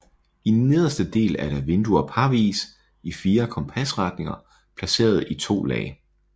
I nederste del er der vinduer parvis i fire kompasretninger placeret i to lag